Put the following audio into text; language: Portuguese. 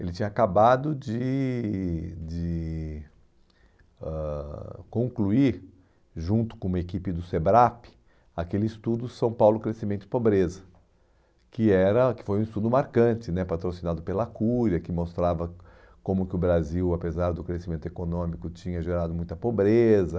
ele tinha acabado de de ãh concluir, junto com uma equipe do SEBRAP, aquele estudo São Paulo Crescimento e Pobreza, que era que foi um estudo marcante né, patrocinado pela Cúria, que mostrava como que o Brasil, apesar do crescimento econômico, tinha gerado muita pobreza.